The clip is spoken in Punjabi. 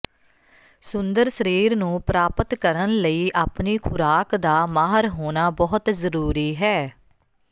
ਸੁੰਦਰ ਸਰੀਰ ਨੂੰ ਪ੍ਰਾਪਤ ਕਰਨ ਲਈ ਆਪਣੀ ਖੁਰਾਕ ਦਾ ਮਾਹਰ ਹੋਣਾ ਬਹੁਤ ਜ਼ਰੂਰੀ ਹੈ